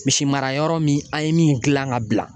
Misimarayɔrɔ min an ye min dilan ka bila